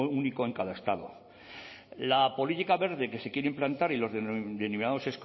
único en cada estado la política verde que se quiere implantar y los denominados